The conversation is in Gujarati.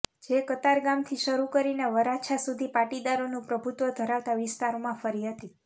જે કતારગામથી શરૂ કરીને વરાછા સુધી પાટીદારોનું પ્રભુત્વ ધરાવતા વિસ્તારોમાં ફરી હતી